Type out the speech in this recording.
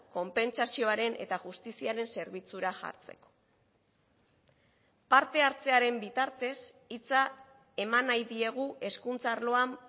konpentsazioaren eta justiziaren zerbitzura jartzeko parte hartzearen bitartez hitza eman nahi diegu hezkuntza arloan